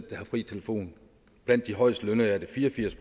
der har fri telefon blandt de højest lønnede er det fire og firs